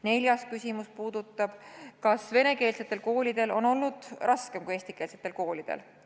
Neljas küsimus puudutab seda, kas venekeelsetel koolidel on olnud raskem kui eestikeelsetel koolidel.